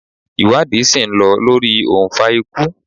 Iwadi si n lọ lori ounfa ikú